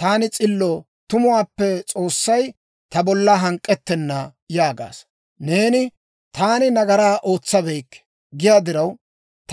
‹Taani s'illo; tumuwaappe S'oossay ta bolla hank'k'ettenna› yaagaasa. Neeni, ‹Taani nagaraa ootsabeykke› giyaa diraw,